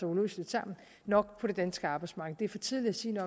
uløseligt sammen nok på det danske arbejdsmarked det er for tidligt at sige